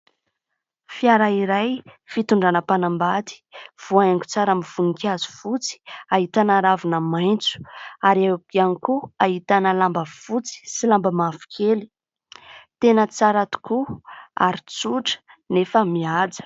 Fiara iray fitondrana mpanambady voahaingo tsara amin'ny voninkazo fotsy ahitana ravina maitso ary eo ihany koa ahitana lamba fotsy sy lamba mavokely, tena tsara tokoa ary tsotra nefa mihaja.